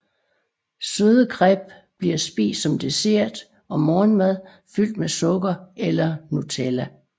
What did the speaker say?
Søde crêpes bliver spist som dessert og morgenmad fyldt med sukker eller Nutella